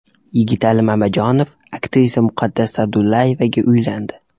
Yigitali Mamajonov aktrisa Muqaddas Sa’dullayevaga uylandi.